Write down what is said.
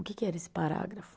O que que era esse parágrafo?